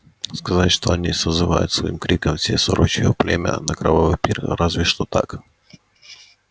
сказать что они созывают своим криком все сорочье племя на кровавый пир разве что так